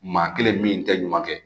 Maa kelen min tɛ ɲuman kɛ